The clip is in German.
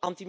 eingesetzt,